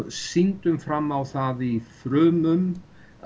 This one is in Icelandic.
sýndum fram á það í frumum